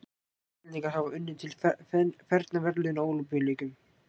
íslendingar hafa unnið til fernra verðlauna á ólympíuleikum